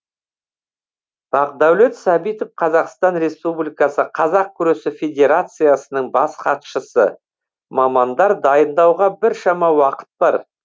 бақдәулет сәбитов қазақстан республикасы қазақ күресі федерациясының бас хатшысы мамандар дайындауға біршама уақыт бар